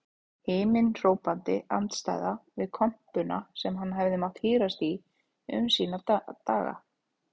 Himinhrópandi andstæða við kompuna sem hann hefur mátt hírast í um sína daga.